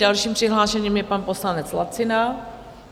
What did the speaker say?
Dalším přihlášeným je pan poslanec Lacina.